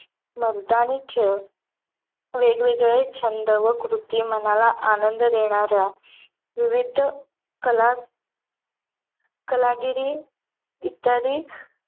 मर्दानी खेळ वेगवेगळे छंद व कृती मनाला आनंद देणाऱ्या विविध कला कलागिरी इत्यादी